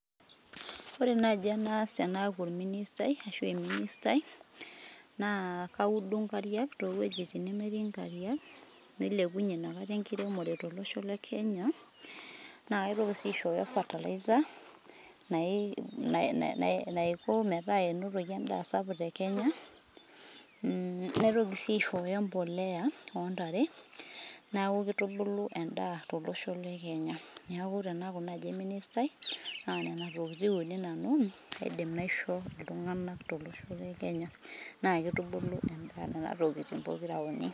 ore naji enas enaku olministai ashu eministai na kaud inkariak toweujitin nemetii inkariak nailepunyie ntokitin enkiremore tolosho lekenya, na katoki si aishoyo ferterliza naiko meeta enotoki endaa sapuk tekenya mm naitoki si aishoyo emboleya ontare na kitukulu endaa tolosho lekenya niaku tenaku naji eministai na ntokitin uni nanu aidim aisho iltungana tolosho lekenya .